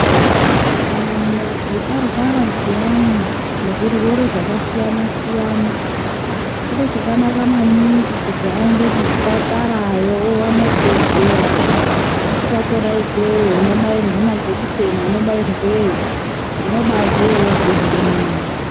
Kana muntu arwara zviyani ngezvirwere zvakasiyana-siyana, chiro chakanaka maningi kuti aende kuzvipatarayo awane rudetsero. Wasvika kwona ikweyo unobairwe majekiseni anobairweyo, unobaabveyo wozwa zvirinane.